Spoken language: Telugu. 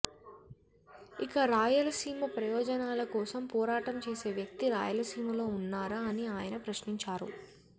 ఇక రాయలసీమ ప్రయోజనాల కోసం పోరాటం చేసే వ్యక్తి రాయలసీమలో ఉన్నారా అని ఆయన ప్రశ్నించారు